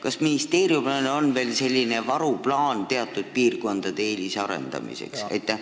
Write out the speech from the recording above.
Ja kas ministeeriumil on ka varuplaan teatud piirkondade eelisarendamiseks?